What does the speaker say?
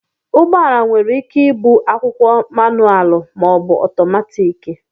ụgbọala nwere ike ịbụ akwụkwo mánụalụ maọbu ọtọmatiki